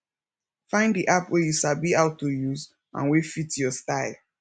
find di app wey you sabi how to use and wey fit your style